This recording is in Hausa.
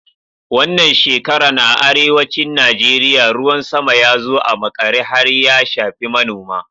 Wannan shekaran a arewacin Najeriya, ruwan sama ya zo a maƙare har ya shafi manoma.